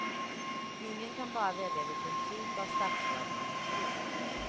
Ingen kan bara välja vilken typ av statsråd man vill bli.